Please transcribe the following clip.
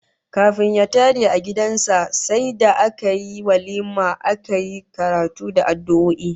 Kafin ya tare a sabon gidan sa sai da aka yi walima aka yi karatu da addu'o'i